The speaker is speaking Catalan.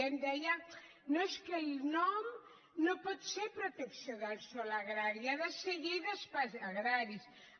em deia no és que el nom no pot ser protecció del sòl agrari ha de ser llei d’espais agraris